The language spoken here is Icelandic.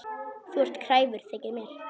Þú ert kræfur, þykir mér.